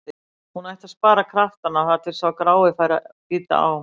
Hún ætti að spara kraftana þar til sá grái færi að bíta á.